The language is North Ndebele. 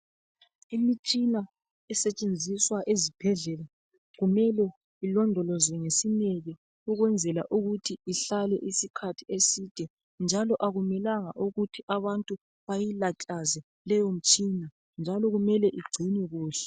Imitshina esetshenziswa ezibhedlela kumele ilondolozwe ngesineke ukwenzela ukuthi ihlale isikhathi eside njalo akumelanga ukuthi abantu bayilatlaze leyo mitshina njalo kumele igcinwe kuhle.